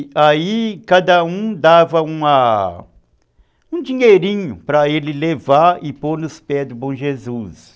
E aí cada um dava uma, um dinheirinho para ele levar e pôr nos pés do Bom Jesus.